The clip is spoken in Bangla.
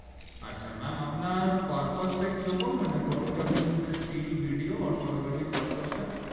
আচ্ছা ম্যাম আপনার purpose টা কি রকম মানে photography মধ্যে still ভিডিও photography purpose টা